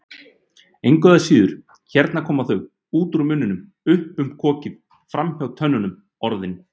Engu að síður, hérna koma þau, út úr munninum, upp um kokið, framhjá tönnunum, Orðin.